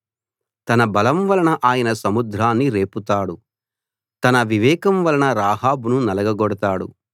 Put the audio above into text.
తన బలం వలన ఆయన సముద్రాన్ని రేపుతాడు తన వివేకం వలన రాహాబును నలగగొడతాడు